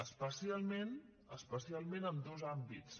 especialment especialment en dos àmbits